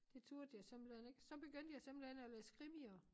Det turde jeg simpelthen ik så begyndte jeg simpelthen at læse krimier